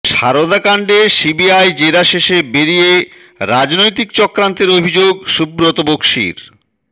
সারদাকাণ্ডে CBI জেরা শেষে বেরিয়ে রাজনৈতিক চক্রান্তের অভিযোগ সুব্রত বক্সি র